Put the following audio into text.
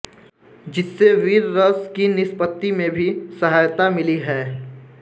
जिससे वीर रस की निष्पत्ति में भी सहायता मिली है